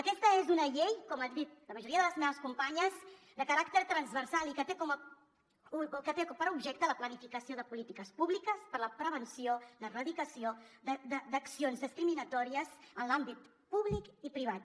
aquesta és una llei com han dit la majoria de les meves companyes de caràcter transversal i que té per objecte la planificació de polítiques públiques per a la prevenció l’erradicació d’accions discriminatòries en l’àmbit públic i privat